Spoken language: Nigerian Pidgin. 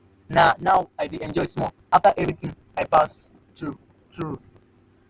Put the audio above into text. na now i dey enjoy small after everything i pass through. through.